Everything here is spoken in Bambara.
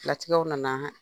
Latigɛw na na